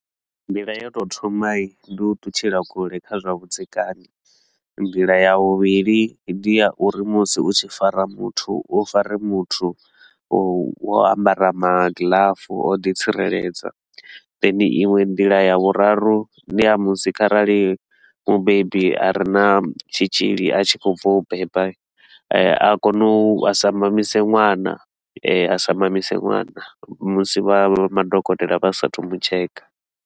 Nḓila yo tou thoma, ndi u ṱutshela kule kha zwa vhudzekani. Nḓila ya vhuvhili ndi uri musi u tshi fara muthu u fare muthu wo ambara magiḽafu a u ḓi tsireledza, then iṅwe nḓila ya vhuraru ndi ya musi kharali mubebi a re na tshitshili a tshi khou bva u beba hii, eh a kone u a sa mamise ṅwana a sa mamise ṅwana musi vha madokotela vha sa a thu u mutsheka.